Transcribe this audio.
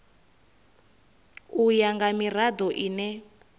u ya nga mirado ine